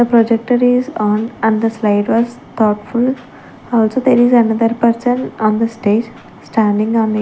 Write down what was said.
projector is on and the slide was thoughtful also there is another person on the stage standing a mai --